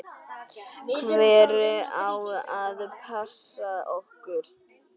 Hver á að passa okkur?